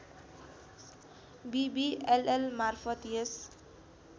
विविएलएल मार्फत् यस